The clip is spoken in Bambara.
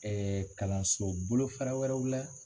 kalanso bolo fara wɛrɛw la